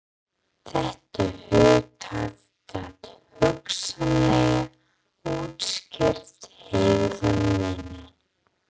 Þetta hugtak gat hugsanlega útskýrt hegðun mína.